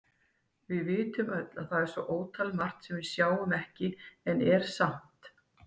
Við vitum öll að það er svo ótalmargt sem við sjáum ekki en er samt.